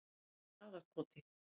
Traðarkoti